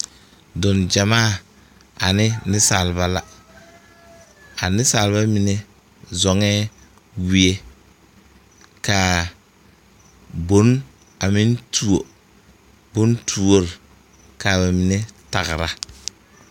Dog gyamaa ane niŋsalba la a niŋsalba mine zɔɔɛ wie kaa boŋ a meŋ tuo boŋtuore ka ba mine tagged.